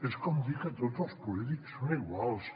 és com dir que tots els polítics són iguals